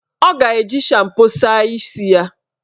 Ọ ga-eji shampo saa isi ya.